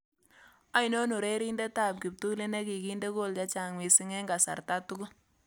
Ainon urereniindetap kiptuliit neginde kool chechang' misiing' eng' kasarta tugul